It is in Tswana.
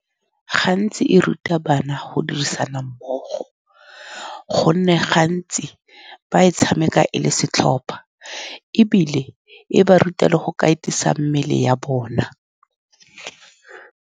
Gantsi e ruta bana go dirisana mmogo, ka gonne gantsi ba e tshameka e le setlhopha, ebile e ba ruta le go katisa mmele ya bona.